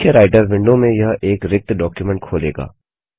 मुख्य Writer window में यह एक रिक्त डॉक्युमेंट खोलेगा